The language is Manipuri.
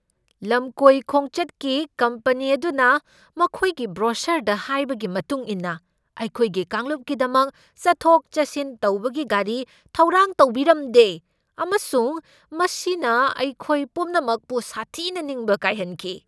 ꯂꯝꯀꯣꯏ ꯈꯣꯡꯆꯠꯀꯤ ꯀꯝꯄꯅꯤ ꯑꯗꯨꯅ ꯃꯈꯣꯏꯒꯤ ꯕ꯭ꯔꯣꯁꯔꯗ ꯍꯥꯏꯕꯒꯤ ꯃꯇꯨꯡ ꯏꯟꯅ ꯑꯩꯈꯣꯏꯒꯤ ꯀꯥꯡꯂꯨꯞꯀꯤꯗꯃꯛ ꯆꯠꯊꯣꯛ ꯆꯠꯁꯤꯟ ꯇꯧꯕꯒꯤ ꯒꯥꯔꯤ ꯊꯧꯔꯥꯡ ꯇꯧꯕꯤꯔꯝꯗꯦ, ꯑꯃꯁꯨꯡ ꯃꯁꯤꯅ ꯑꯩꯈꯣꯏ ꯄꯨꯝꯅꯃꯛꯄꯨ ꯁꯥꯊꯤꯅ ꯅꯤꯡꯕ ꯀꯥꯏꯍꯟꯈꯤ ꯫